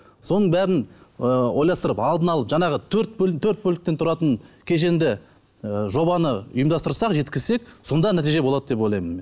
соның бәрін ы ойластырып алдын алып жаңағы төрт бөліктен тұратын кешенді ы жобаны ұйымдастырсақ жеткізсек сонда нәтиже болады деп ойлаймын мен